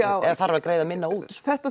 eða þarf að greiða minna út sko þetta